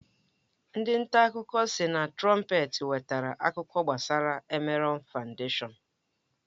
Ndị nta akụkọ sị na Trọmpeta nwetere akụkọ gbasara Emerọn Fandeshọn.